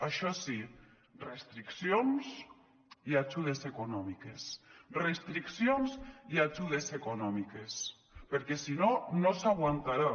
això sí restriccions i ajudes econòmiques restriccions i ajudes econòmiques perquè si no no s’aguantarà